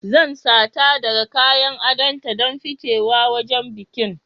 Zan sata daga kayan adonta don ficewa wajen bikin